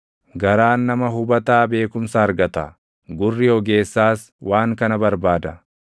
Garaan nama hubataa beekumsa argata; gurri ogeessaas waan kana barbaada.